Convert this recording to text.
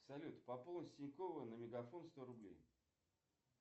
салют пополнить с тинькова на мегафон сто рублей